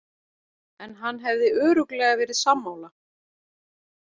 En hann hefði örugglega verið sammála.